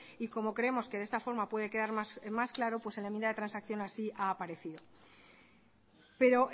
y como creemos que de esta forma puede quedar más claro pues en la enmienda de transacción así ha aparecido pero